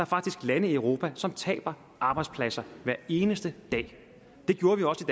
faktisk lande i europa som taber arbejdspladser hver eneste dag det gjorde vi også